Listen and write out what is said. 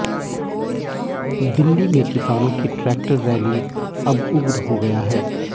दिल्ली में किसानों की ट्रैक्टर रैली अब उग्र हो गया है